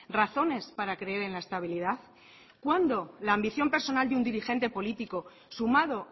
razones para creer en la estabilidad cuándo la ambición personal de un dirigente político sumado